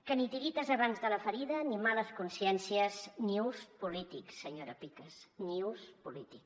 que ni tiretes abans de la ferida ni males consciències ni ús polític senyora picas ni ús polític